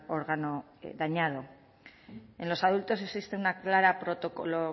órgano dañado en los adultos existe una clara